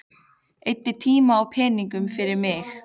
Eyddi tíma og peningum fyrir mig.